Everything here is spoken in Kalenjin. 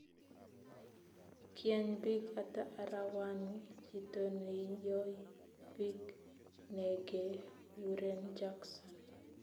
Kieny biik hata arawani chito neinyoi biik negeguren Jackson